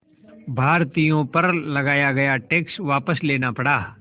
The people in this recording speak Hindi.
भारतीयों पर लगाया गया टैक्स वापस लेना पड़ा